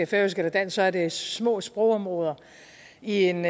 færøsk eller dansk er det jo små sprogområder i en